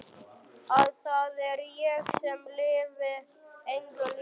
Að það er ég sem lifi engu lífi.